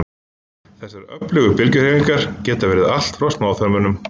Þessar öfugu bylgjuhreyfingar geta verið allt frá smáþörmunum.